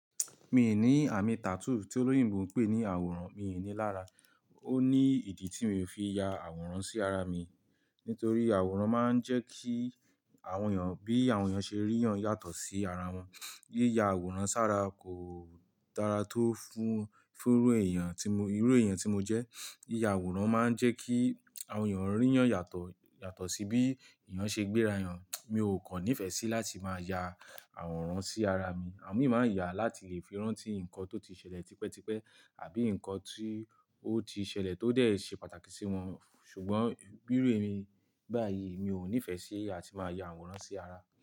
Mi ò ní àmì tattoo tí olóyìnbo ń pè ní àwòrán, mi ò ní lára. Ó ní ìdí tí mi ò fi ya àwòrán sí ara mi. Nítorí àwòrán máa ń jẹ́ kí àwọn èèyàn bí àwọn èèyàn ṣe ríyan yàtọ̀ sí ara wọn. Yíya àwòrán sára kò dára tó fún, fún irú èèyàn tí mo, irú èèyàn tí mo jẹ́. Yíya àwòrán máa ń jẹ́ kí àwọn èèyàn ríyan yàtọ̀, yàtọ̀ sí bí èèyàn ṣe gbéra hàn. Mi ò kàn nífẹ̀ẹ́ sí láti máa ya àwòrán sí ara mi. Àwọn mii maa n yà á láti lè fi ranti nǹkan tó ti ṣẹlẹ̀ tipẹ́tipẹ́ àbí nǹkan tí ó ti ṣẹlẹ̀ tó dẹ̀ ṣe pàtàkì sí wọn. Ṣùgbọ́n bi írú emi báyìí mi ò nífẹ̀ẹ́ sí ati máa ya àwòrán sí ara.